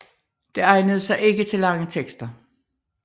Det egnede sig ikke til lange tekster